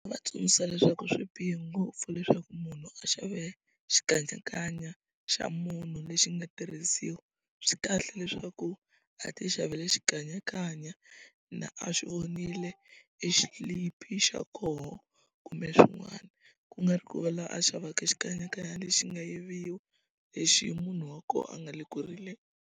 Va tsundzuxa leswaku swi bihe ngopfu leswaku munhu a xava e xikanyakanya xa munhu lexi nga tirhisiwa swi kahle leswaku a ti xavile xikanyakanya na a xi vonile exilipi xa koho kumbe swin'wana ku nga ri ku la a xavaka xikanyakanya lexi nga yiviwa lexi munhu wa koho a nga le ku rileni.